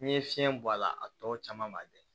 N'i ye fiɲɛ bɔ a la a tɔ caman b'a bɛɛ